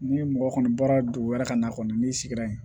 Ni mɔgɔ kɔni bɔra dugu wɛrɛ ka na kɔni n'i sigira yen